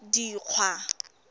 dikgwa